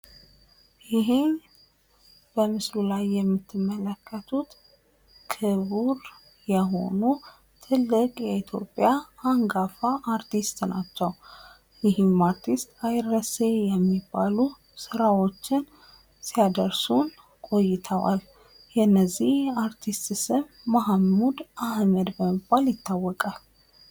ይሄ በምስሉ ላይ የምትመለከቱት ክቡር አንጋፋ የሆኑ በ ኢትዮጵያ አይረሴ የሆኑት የ ማህሙድ አህመድ ምስለን አንመለከታለን።